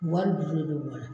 Wari jusu de do mɔgɔ la.